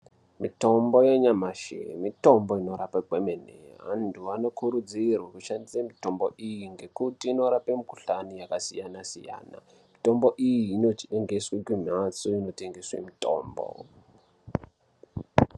Mitombo yenyamashi mitombo inorape kwemene , antu anokurudzirwa kushandise mitombo iyi ngekuti inorape mikhulani yakasiyana siyana, mitombo iyi inotengeswe kumhatso inotengeswe mitombo.